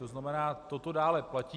To znamená, toto dále platí.